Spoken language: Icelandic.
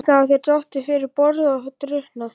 Líklega hafa þær dottið fyrir borð og drukknað.